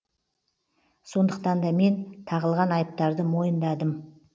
сондықтан да мен тағылған айыптарды мойындадым